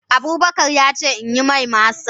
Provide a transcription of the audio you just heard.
Abubakar ya ce in yi mai masa.